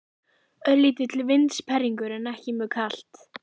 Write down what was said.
Örlítill vindsperringur en ekki mjög kalt.